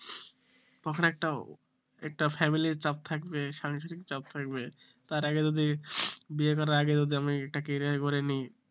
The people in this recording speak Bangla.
তখন একটা একটা family র চাপ থাকবে সাংসারিক চাপ থাকবে তার আগে যদি বিয়ে করার আগে যদি আমি একটা career গড়ে নিই